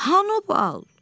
Hanı bal?